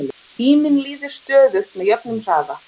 tíminn líður stöðugt með jöfnum hraða